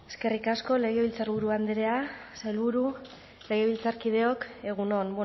eskerrik asko legebiltzarburu andrea sailburu legebiltzarkideok egun on